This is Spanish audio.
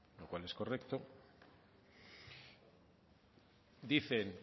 lo cual es correcto dicen